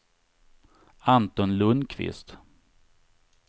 Anton Lundqvist